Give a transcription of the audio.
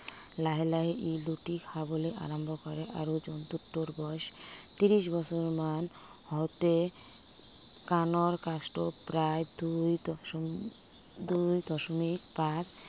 লাহে লাহে ই লুটি খাবলৈ আৰম্ভ কৰে আৰু জন্তুটোৰ বয়স ত্ৰিশ বছয়মান হওতে কাণৰ কাষটো প্ৰায় দুই দশমিক, দুই দশমিক পাঁচ